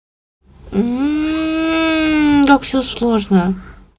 так все сложно